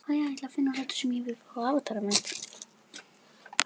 Svona gekk þetta vikum saman.